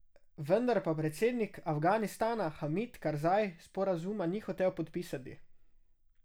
Vendar pa predsednik Afganistana Hamid Karzaj sporazuma ni hotel podpisati.